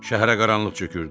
Şəhərə qaranlıq çökürdü.